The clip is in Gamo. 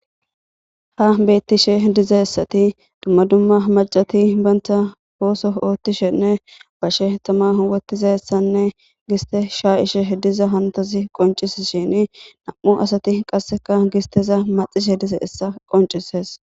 ha bettishe dizaessati dumma dumma macati banta pooso oottishenne bashe tama huwatiza essanne giste shaa ishe diza hantazi qoncis shini nam7u asati qasseka gisteza maxishe diza essa qoncises